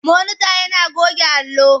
Monita yana goge allo.